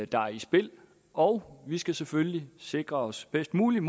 der er i spil og vi skal selvfølgelig sikre os bedst muligt